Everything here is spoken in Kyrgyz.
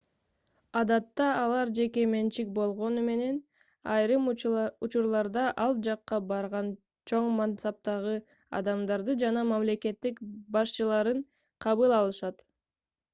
адатта алар жеке менчик болгону менен айрым учурларда ал жакка барган чоң мансаптагы адамдарды жана мамлекет башчыларын кабыл алышат